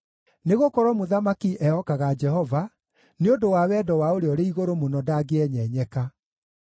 Nĩgũkorwo mũthamaki ehokaga Jehova; nĩ ũndũ wa wendo wa Ũrĩa-ũrĩ-Igũrũ-Mũno ndangĩenyenyeka.